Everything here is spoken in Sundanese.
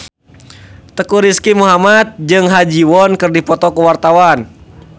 Teuku Rizky Muhammad jeung Ha Ji Won keur dipoto ku wartawan